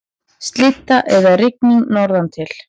Slydda eða rigning norðantil